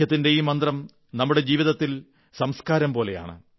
ഐക്യത്തിന്റെ ഈ മന്ത്രം നമ്മുടെ ജീവിതത്തിൽ സംസ്കാരം പോലെയാണ്